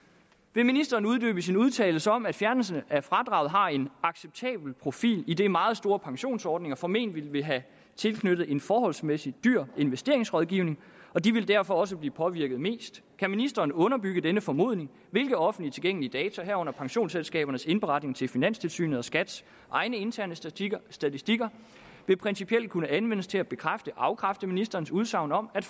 vil ministeren uddybe sin udtalelse om at fjernelse af fradraget har en acceptabel profil idet meget store pensionsordninger formentlig vil have tilknyttet en forholdsmæssig dyr investeringsrådgivning og de vil derfor også blive påvirket mest kan ministeren underbygge denne formodning hvilke offentligt tilgængelige data herunder pensionsselskabernes indberetninger til finanstilsynet og skats egen interne statistikker statistikker ville principielt kunne anvendes til at bekræfteafkræfte ministerens udsagn om at